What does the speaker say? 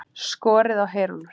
Skorið á heyrúllur